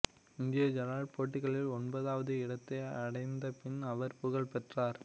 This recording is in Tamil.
இந்திய ஐடால் போட்டிகளில் ஒன்பதாவது இடத்தை அடைந்தபின் அவர் புகழ் பெற்றார்